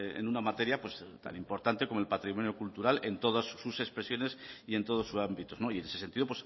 en una materia pues tan importante como el patrimonio cultural en todas sus expresiones y en todos sus ámbitos y en ese sentido